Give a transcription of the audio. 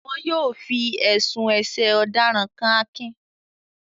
Wọn yóò fi ẹ̀sùn ẹ̀sẹ̀ ọ̀daràn kan Akin